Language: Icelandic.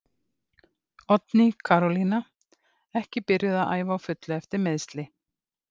Oddný Karolína ekki byrjuð að æfa á fullu eftir meiðsli.